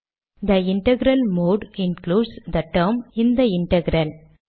they integral mode includes the term this integral